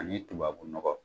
Ani tubabu nɔgɔ